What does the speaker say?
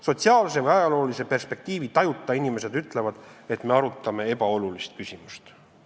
Sotsiaalse või ajaloolise perspektiivi tajuta inimesed ütlevad, et me arutame ebaolulist küsimust.